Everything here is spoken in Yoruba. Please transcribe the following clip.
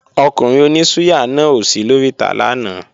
Ọkùnrin oní súyà náà ò sí lóríta lánàá